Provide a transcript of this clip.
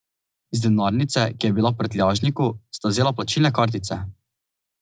Iz denarnice, ki je bila v prtljažniku, sta vzela plačilne kartice.